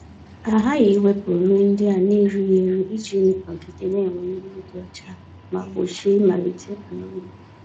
A ghaghị iwepụ nri ndị a na-erighị eri iji nọgide na-enwe mmiri dị ọcha ma gbochie ịmalite amonia.